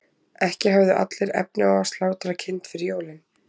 ekki höfðu allir efni á að slátra kind fyrir jólin